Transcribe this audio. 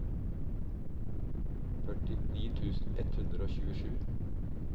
førtini tusen ett hundre og tjuesju